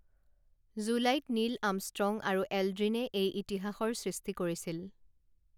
জুলাইত Neil Armstrong আৰু এলড্ৰিনে এই ইতিহাসৰ সৃষ্টি কৰিছিল